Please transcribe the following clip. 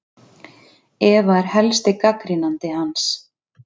Eva er helsti gagnrýnandi hans.